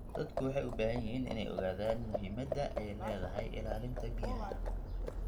Dadku waxay u baahan yihiin inay ogaadaan muhiimadda ay leedahay ilaalinta biyaha.